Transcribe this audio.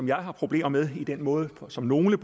jeg har problemer med i den måde som nogle